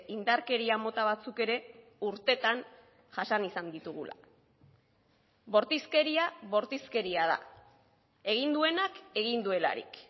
indarkeria mota batzuk ere urtetan jasan izan ditugula bortizkeria bortizkeria da egin duenak egin duelarik